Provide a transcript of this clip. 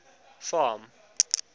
farm